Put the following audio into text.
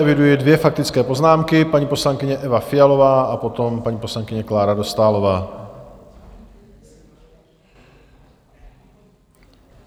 Eviduji dvě faktické poznámky, paní poslankyně Eva Fialová a potom paní poslankyně Klára Dostálová.